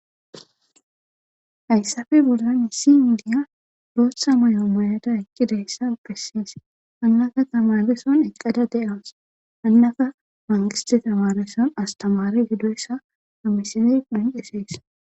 hayssafe bura misi indiya dootha mayoo moyada ekkidayssa ukesis hannaka tamareson eqqada de7amus hannaka mangisti tamareson astamare gidoyssa hamisene dinqesees